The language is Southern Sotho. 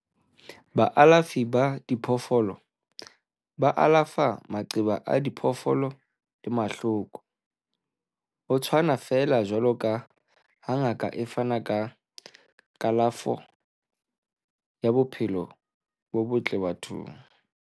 Baalafi ba diphoofolo ba alafa maqeba a diphoofolo le mahloko, ho tshwana feela jwaloka ha ngaka e fana ka kalafo ya bophelo bo botle bathong.